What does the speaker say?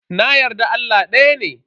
Na yarda Allah daya ne.